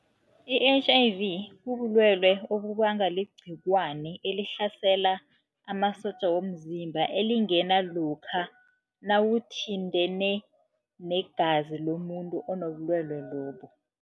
I-H_I_V bubulwelwe obubangwa ligcikwane elihlasela amasotja womzimba, elingena lokha nawuthintene negazi lomuntu onobulwelwe lobu.